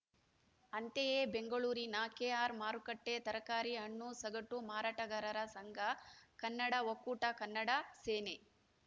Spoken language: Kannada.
ಅಂತೆಯೇ ಬೆಂಗಳೂರಿನ ಕೆಆರ್‌ಮಾರುಕಟ್ಟೆತರಕಾರಿ ಹಣ್ಣು ಸಗಟು ಮಾರಾಟಗಾರರ ಸಂಘ ಕನ್ನಡ ಒಕ್ಕೂಟ ಕನ್ನಡ ಸೇನೆ